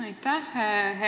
Aitäh!